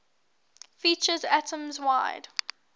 features atoms wide